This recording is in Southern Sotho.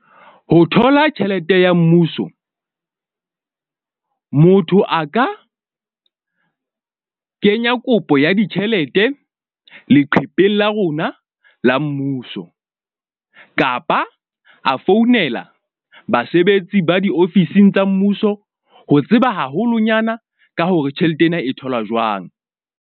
Ho thola tjhelete ya mmuso, motho a ka kenya kopo ya ditjhelete leqhepeng la rona la mmuso, kapa a founela basebetsi ba diofising tsa mmuso. Ho tseba haholonyana ka hore tjhelete ena e tholwa jwang.